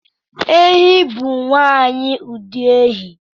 Ehi bụ nwanyi ụdị ehi